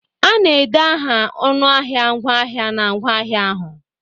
A na-ede aha ọnụahịa ngwaahịa na ngwaahịa ahụ.